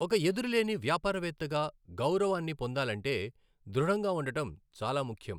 ఒక ఎదురులేని వ్యాపారవేత్తగా గౌరవాన్ని పొందాలంటే, దృఢంగా ఉండటం చాలా ముఖ్యం.